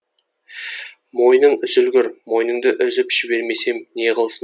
мойның үзілгір мойныңды үзіп жібермесем неғылсын